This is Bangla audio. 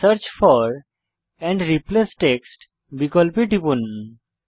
search for and replace text বিকল্পে টিপুন